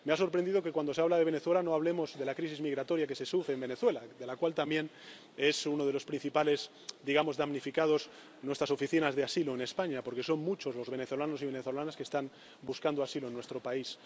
Me ha sorprendido que cuando se habla de Venezuela no hablemos de la crisis migratoria que se sufre en Venezuela, pues unas de las principales —digamos― damnificadas son nuestras oficinas de asilo en España, porque son muchos los venezolanos y venezolanas que están buscando asilo en nuestro país.